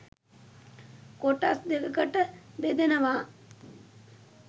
කොටස් දෙකකට බෙදෙනවා